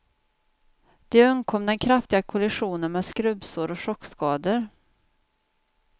De undkom den kraftiga kollisionen med skrubbsår och chockskador.